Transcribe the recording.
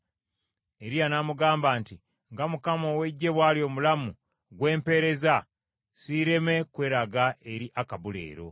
Eriya n’amugamba, “Nga Mukama ow’Eggye bw’ali omulamu, gwe mpeereza, siireme kweraga eri Akabu leero.”